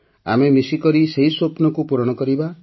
ଆମେ ମିଶିକରି ସେହି ସ୍ୱପ୍ନକୁ ପୂରଣ କରିବା